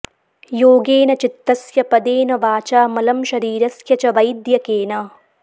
योगेन चित्तस्य पदेन वाचा मलं शरीरस्य च वैद्यकेन